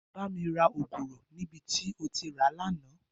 Bà mi rà ógúrò ni bi tó ti rá lànã